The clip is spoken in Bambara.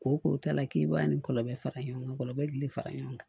Ko ko ta la k'i b'a ni kɔrɔbɔrɔ fara ɲɔgɔn kan kɔrɔbɔrɔ kili fara ɲɔgɔn kan